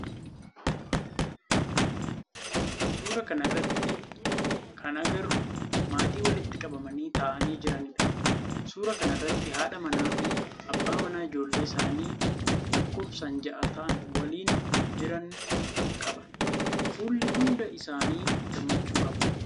Suuraa kana irratti kan agarru maatii walitti qabamanii ta'aanii jiranidha. Suuraa kana irratti haadha manaa fi abbaa manaa ijoollee isaanii lakkoofsaan ja'a ta'aan waliin jiran qaba. Fuulli hunda isaanii gammachuu qaba.